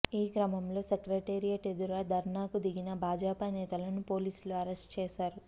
ఈ క్రమంలో సెక్రటేరియట్ ఎదుట ధర్నాకు దిగిన భాజపా నేతలను పోలీసులు అరెస్టు చేశారు